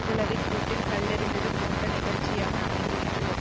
குளவிக்கூட்டில் கல்லெறிந்தது போன்ற நிகழ்ச்சியாக அமைந்துவிட்டது